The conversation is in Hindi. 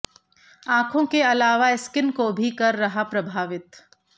आंखों के अलावा स्किन को भी कर रहा प्रभावित